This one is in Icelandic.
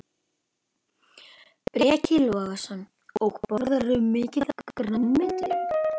Breki Logason: Og borðarðu mikið af grænmeti?